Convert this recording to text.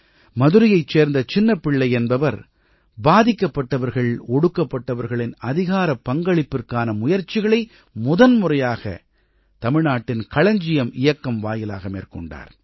மதுரையைச் சேர்ந்த சின்னப்பிள்ளை என்பவர் பாதிக்கப்பட்டவர்கள் ஒடுக்கப்பட்டவர்களின் அதிகாரப் பங்களிப்பிற்கான முயற்சிகளை முதன்முறையாக தமிழ்நாட்டின் களஞ்சியம் இயக்கம் வாயிலாக மேற்கொண்டார்